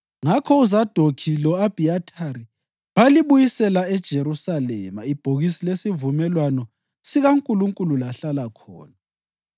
Ngakho uZadokhi lo-Abhiyathari balibuyisela eJerusalema ibhokisi lesivumelwano sikaNkulunkulu lahlala khona.